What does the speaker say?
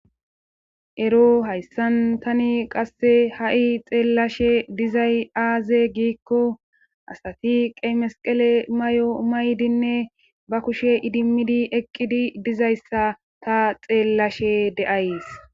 Ero hayssan tani qasse ha7i xeellashe dizay aaze giikko asati qemasqele may7o maydinne ba kushe idimmidi eqqidi dizayssa ta xeellashe de7ays.